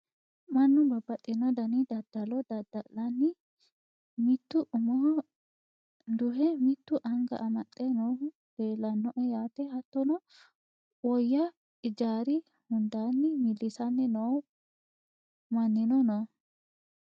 mannu babbaxino dani daddalo daddalanni mitu umoho duhe mitu anga amaxxe noohu leelanno yaate, hattono woyya ijaari hundaanni millisanni noo manniino no.